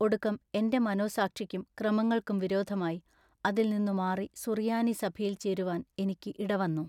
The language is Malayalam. ഒടുക്കം എന്റെ മനോസാക്ഷിക്കും ക്രമങ്ങൾക്കും വിരോധമായി അതിൽ നിന്നു മാറി സുറിയാനി സഭയിൽ ചേരുവാൻ ഇനിക്കു ഇട വന്നു.